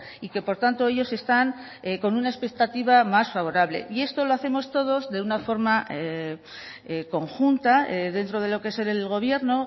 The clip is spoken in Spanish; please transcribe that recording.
y que por tanto ellos están con una expectativa más favorable y esto lo hacemos todos de una forma conjunta dentro de lo que es el gobierno